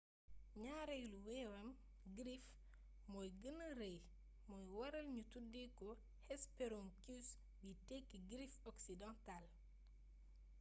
ñaareelu wewam griffe moo gëna rëy moo waral ñu tuddee ko hesperonychus biy tekki griffe occidentale